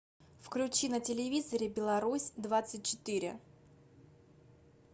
включи на телевизоре беларусь двадцать четыре